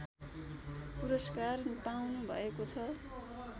पुरस्कार पाउनुभएको छ